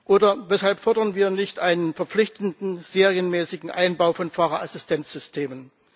Oder weshalb fordern wir nicht einen verpflichtenden serienmäßigen Einbau von Fahrerassistenzsystemen?